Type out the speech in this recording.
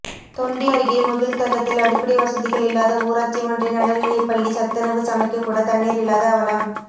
தொண்டி அருகே முகிழ்த்தகத்தில் அடிப்படை வசதிகள் இல்லாத ஊராட்சி ஒன்றிய நடுநிலைப்பள்ளி சத்துணவு சமைக்க கூட தண்ணீர் இல்லாத அவலம்